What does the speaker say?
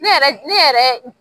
Ne yɛrɛ ne yɛrɛ